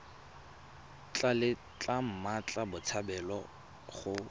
tla letla mmatla botshabelo go